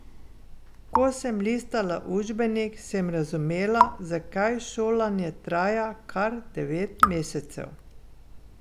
Ko sem listala učbenik, sem razumela, zakaj šolanje traja kar devet mesecev.